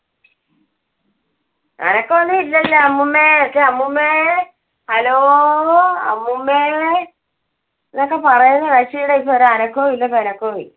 അനക്കം ഒന്നും ഇല്ലല്ലോ. അമ്മൂമ്മേ അമ്മൂമ്മേ hello അമ്മൂമ്മേ, എന്നൊക്കെ പറയുന്ന കക്ഷിടെ ഇപ്പൊ ഒരു അനക്കോം ഇല്ല